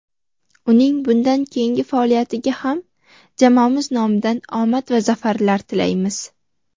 Uning bundan keyingi faoliyatiga ham jamoamiz nomidan omad va zafarlar tilaymiz!.